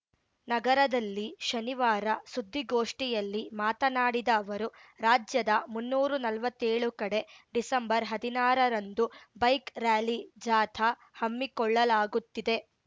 ನಗರದಲ್ಲಿ ಶನಿವಾರ ಸುದ್ದಿಗೋಷ್ಠಿಯಲ್ಲಿ ಮಾತನಾಡಿದ ಅವರು ರಾಜ್ಯದ ಮುನ್ನೂರಾ ನಲ್ವತ್ತೇಳು ಕಡೆ ಡಿಸೆಂಬರ್ಹದಿನಾರರಂದು ಬೈಕ್‌ ರಾಲಿ ಜಾಥಾ ಹಮ್ಮಿಕೊಳ್ಳಲಾಗುತ್ತಿದೆ